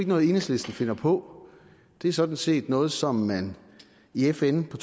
noget enhedslisten finder på det er sådan set noget som man i fn på